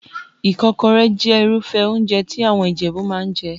Ìkọ́kọrẹ́ jẹ́ Irúfẹ́ óúnjẹ tí àwọn Ìjẹ̀bú máa ń jẹ